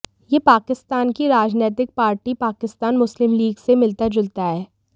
ये पाकिस्तान की राजनैतिक पार्टी पाकिस्तान मुस्लिम लीग से मिलता जुलता है